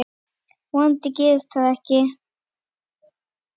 Vonandi gerist það ekki.